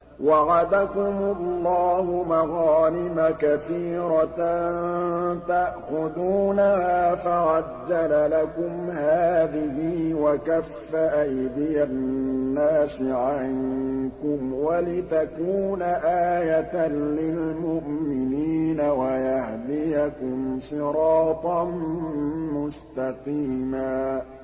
وَعَدَكُمُ اللَّهُ مَغَانِمَ كَثِيرَةً تَأْخُذُونَهَا فَعَجَّلَ لَكُمْ هَٰذِهِ وَكَفَّ أَيْدِيَ النَّاسِ عَنكُمْ وَلِتَكُونَ آيَةً لِّلْمُؤْمِنِينَ وَيَهْدِيَكُمْ صِرَاطًا مُّسْتَقِيمًا